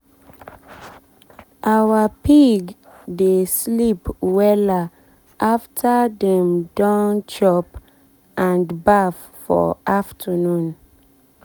our pig dey sleep wella after dey don chop and baff for afternoon.